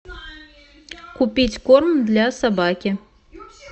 купить корм для собаки